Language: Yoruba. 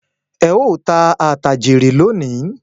Ẹ ó tà àtà jèrè lónìí